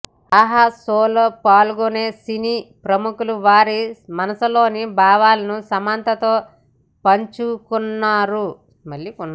ఆహా షోలో పాల్గొనే సినీ ప్రముఖులు వారి మనసులోని భావాలను సమంతతో పంచుకోనున్నారు